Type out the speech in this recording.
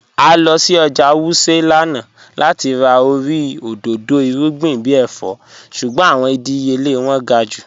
À lọ sí ọ́jà Wuse lánà láti rà orí odòdó irugbìn bí èfọ̀, ṣùgbọ̀n awọn ìdíyèlẹ̀ wọn gá̀ jù.